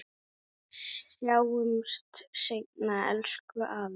Sjáumst seinna, elsku afi.